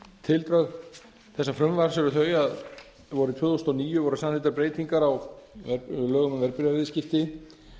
tildrög þessa frumvarps eru þau að vorið tvö þúsund og níu voru samþykktar breytingar á lögunum um verðbréfaviðskipti